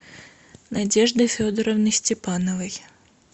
надежды федоровны степановой